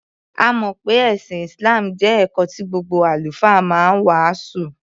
A mọ̀ pé ẹ̀sìn Islam jẹ́ ẹ̀kọ́ tí gbogbo Àlùfáà ma ń wàásù.